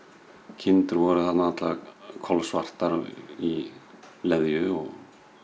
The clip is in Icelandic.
kindur voru allar kolsvartar í leðju og